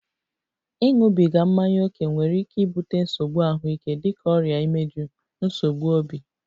Ịṅụbiga mmanya ókè nwere ike ibute nsogbu ahụike dịka ọrịa imeju, nsogbu obi